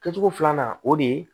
Kɛ cogo filanan o de ye